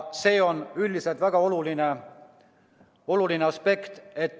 See on üldiselt väga oluline aspekt.